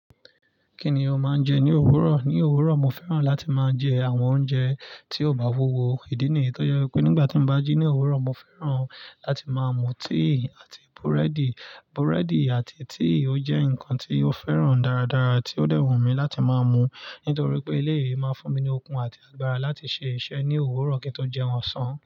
Kí ni o máa ń jẹ ní òwúrọ̀? Ní òwúrọ̀, mo fẹ́ràn láti máa jẹ àwọn oúnjẹ tí ó bá wówo. Ìdí nìyí, tó yẹ pé nígbà tí mo bá jí ní òwúrọ̀, mo fẹ́ràn láti máa mu tíì àti búrẹ́dì. Búrẹ́dì àti tíì ó jẹ́ nǹkan tí mo fẹ́ràn dáradára, tí ó dẹ́wọ̀n mí láti máa mu, nítorí pé élèyi máa n fún mi ní okun àti agbára láti ṣe iṣẹ́ ní òwúrọ̀ kí n tó jẹun ọ̀sán.